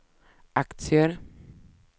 aktier